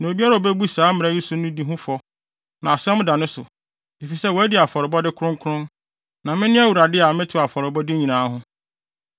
Na obiara a obebu saa mmara yi so no di ho fɔ, na asɛm da ne so, efisɛ wadi afɔrebɔde kronkron. Na mene Awurade a metew afɔrebɔde nyinaa ho.”